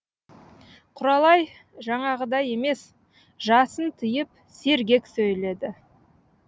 құралай жаңағыдай емес жасын тыйып сергек сөйледі